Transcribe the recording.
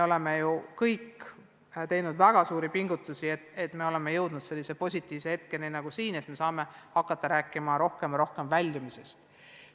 Me kõik oleme teinud väga suuri pingutusi, et jõuda sellise positiivse hetkeni nagu praegu, et saame hakata rääkima rohkem väljumisest.